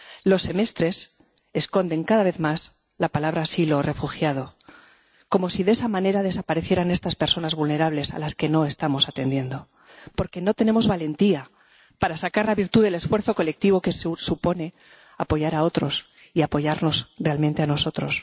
Los semestres esconden, cada vez más, la palabra asilo o refugiado, como si de esa manera desaparecieran estas personas vulnerables a las que no estamos atendiendo, porque no tenemos valentía para sacar la virtud del esfuerzo colectivo que supone apoyar a otros y apoyarnos realmente a nosotros.